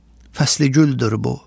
fəsli güldür bu.